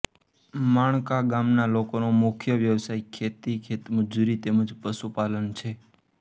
માણકા ગામના લોકોનો મુખ્ય વ્યવસાય ખેતી ખેતમજૂરી તેમ જ પશુપાલન છે